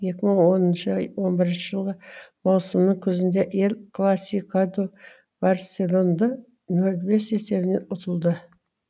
екі мың оныншы он бірінші жылғы маусымның күзінде эль класикадо барселонды нөл бес есебімен ұтылды